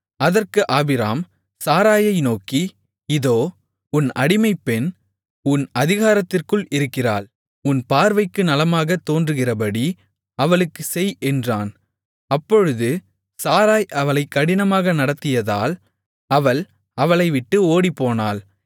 அதற்கு ஆபிராம் சாராயை நோக்கி இதோ உன் அடிமைப்பெண் உன் அதிகாரத்திற்குள் இருக்கிறாள் உன் பார்வைக்கு நலமாகத் தோன்றுகிறபடி அவளுக்குச் செய் என்றான் அப்பொழுது சாராய் அவளைக் கடினமாக நடத்தியதால் அவள் அவளைவிட்டு ஓடிப்போனாள்